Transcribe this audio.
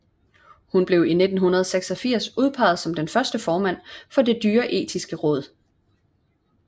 Hun blev i 1986 udpeget som den første formand for Det Dyreetiske Råd